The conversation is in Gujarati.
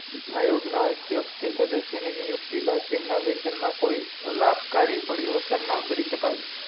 આયોગ ના અધ્યક્ષ કે સદસ્ય ની નિયુક્તિ બાત તેમના વેતન મા કોઈ લાભકારી પરિવર્તન ન કરી સકાય